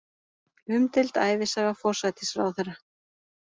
Umdeild ævisaga forsætisráðherra